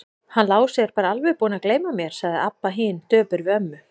Hann Lási er bara alveg búinn að gleyma mér, sagði Abba hin döpur við ömmu.